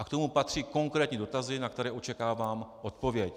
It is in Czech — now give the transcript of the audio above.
A k tomu patří konkrétní dotazy, na které očekávám odpověď.